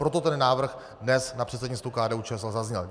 Proto ten návrh dnes na předsednictvu KDU-ČSL zazněl.